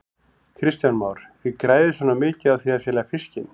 Kristján Már: Þið græðið svona mikið á því að selja fiskinn?